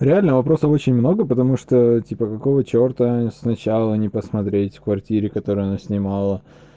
реально вопросов очень много потому что типа какого черта сначала не посмотреть в квартире которые она снимала